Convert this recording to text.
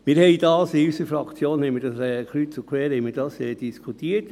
Dies haben wir in unserer Fraktion kreuz und quer diskutiert.